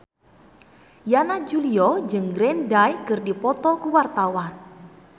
Yana Julio jeung Green Day keur dipoto ku wartawan